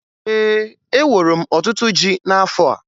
Ee, eworo m ọtụtụ ji n'afọ a